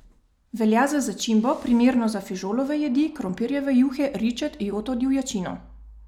Velja za začimbo, primerno za fižolove jedi, krompirjeve juhe, ričet, joto, divjačino ...